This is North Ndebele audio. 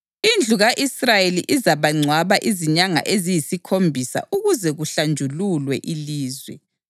Indlu ka-Israyeli izabangcwaba izinyanga eziyisikhombisa ukuze kuhlanjululwe ilizwe.